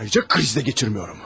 Ayrıca kriz də keçirmirəm!